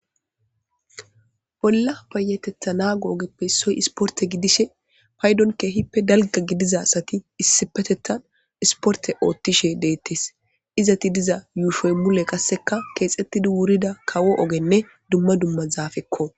Bolla payateththa nago ogeppe issoy ispportte giidishe payddon keehippe dalgga gidiza asati issipetethan ispporte oththishe detees,izetti diza yushshoy mule qasseka keexxitdi wurida kawo ogenne duma zafekko.